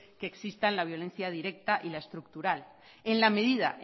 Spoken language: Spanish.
que existan la violencia directa y la estructural en la medida